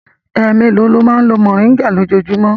Ẹ mélòó ni ó máa ń lo mòríngà lójúmọ́?